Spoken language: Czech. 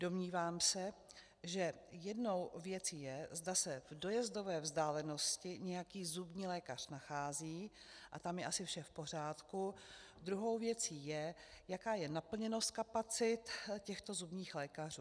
Domnívám se, že jednou věcí je, zda se v dojezdové vzdálenosti nějaký zubní lékař nachází, a tam je asi vše v pořádku, druhou věcí je, jaká je naplněnost kapacit těchto zubních lékařů.